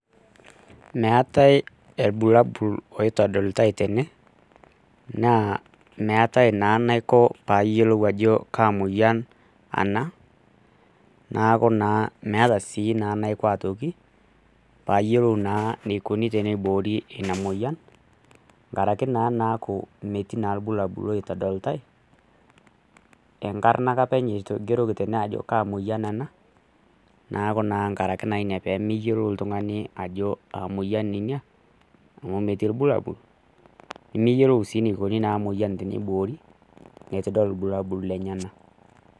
Meatae elbulabul loitodolutai tene, naa meatae naa naiko paayuolou ajo kaa moyian ana, naaku naa meata sii naa naiko aitoki paayolou naa neikoni teneiboori inia moyian, nkare ake naa naaku metii naa lbulabul loitodolutai, enkarna ake apeny eigeroki teneng'oji ajo kaa moyian ana naaku naa nkare naa inia pemeyolou ltung'ani ajo aa moyian inia amu metii lbulabul, nimiyolou sii neikoni moyian teneiboori etu idol lbulabul lenyana.